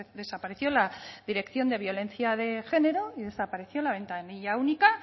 desapareció la dirección de violencia de género y desapareció la ventanilla única